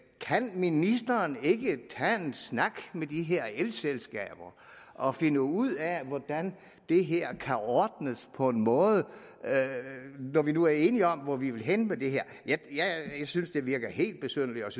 kan ministeren ikke tage en snak med de her elselskaber og finde ud af hvordan det her kan ordnes på en måde når vi nu er enige om hvor vi vil hen med det her jeg synes det virker helt besynderligt